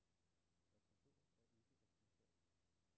At forstå er ikke at bifalde.